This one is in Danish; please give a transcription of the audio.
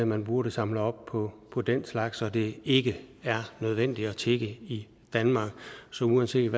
man burde samle op på på den slags og at det ikke er nødvendigt at tigge i danmark så uanset